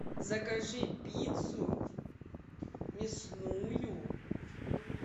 закажи пиццу мясную